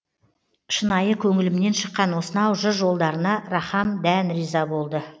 шынайы көңілімнен шыққан осынау жыр жолдарына рахам дән риза болды